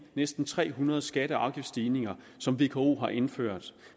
næsten tre hundrede skatte og afgiftsstigninger som vko har indført